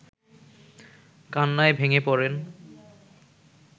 কান্নায় ভেঙে পড়েন